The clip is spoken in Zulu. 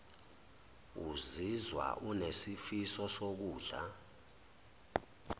uzizwa unesifiso sokudla